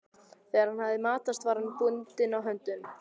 Þegar hann hafði matast var hann bundinn á höndunum.